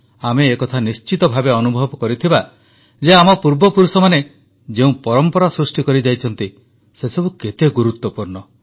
ଆମେ ଏକଥା ନିଶ୍ଚିତ ଭାବେ ଅନୁଭବ କରିଥିବା ଯେ ଆମ ପୂର୍ବପୁରୁଷମାନେ ଯେଉଁ ପରମ୍ପରା ସୃଷ୍ଟି କରିଯାଇଛନ୍ତି ସେସବୁ କେତେ ଗୁରୁତ୍ୱପୂର୍ଣ୍ଣ